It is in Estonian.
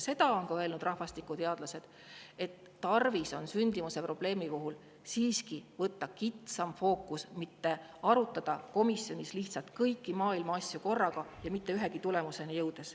Seda on öelnud ka rahvastikuteadlased, et sündimuse probleemi puhul on siiski tarvis võtta kitsam fookus, mitte arutada komisjonis lihtsalt kõiki maailma asju korraga, jõudmata ühegi tulemuseni.